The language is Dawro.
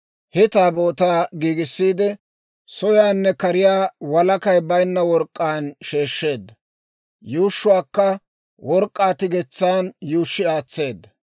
He Taabootaa giigissiide, soyaanne kariyaa walakay baynna work'k'aan sheeshsheedda; yuushshuwaakka work'k'aa tigetsaan yuushshi aatseedda.